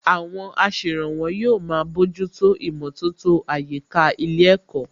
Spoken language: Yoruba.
Àwọn aṣèrànwọ́ yóò máa bójútó ìmọ̀tótó àyíká ilé ẹ̀kọ́